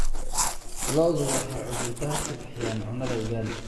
Lo'du waxay cudur daar ka bixiyaan cunnada ugaali.